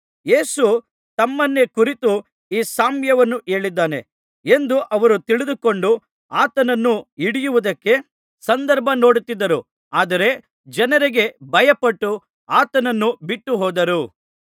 ಯೇಸು ತಮ್ಮನ್ನೇ ಕುರಿತು ಈ ಸಾಮ್ಯವನ್ನು ಹೇಳಿದ್ದಾನೆ ಎಂದು ಅವರು ತಿಳಿದುಕೊಂಡು ಆತನನ್ನು ಹಿಡಿಯುವುದಕ್ಕೆ ಸಂದರ್ಭನೋಡುತ್ತಿದ್ದರು ಆದರೆ ಜನರಿಗೆ ಭಯಪಟ್ಟು ಆತನನ್ನು ಬಿಟ್ಟುಹೋದರು